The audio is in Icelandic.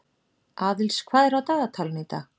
Aðils, hvað er á dagatalinu í dag?